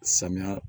Samiya